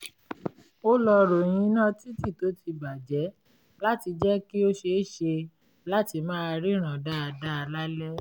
ó lọ ròyìn iná títì tó ti bà jẹ́ láti jẹ́ kí ó ṣeéṣe láti máa ríran dáadáa lálẹ́